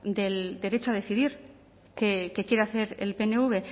del derecho a decidir qué quiere hacer el pnv